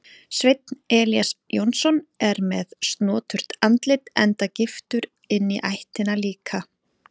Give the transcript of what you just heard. Sveinn Elías Jónsson er með snoturt andlit enda giftur inní ættina líka.